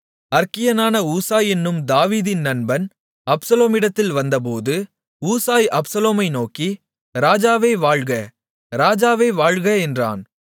அற்கியனான Hushai என்னும் தாவீதின் நண்பன் அப்சலோமிடத்தில் வந்தபோது ஊசாய் அப்சலோமை நோக்கி ராஜாவே வாழ்க ராஜாவே வாழ்க என்றான்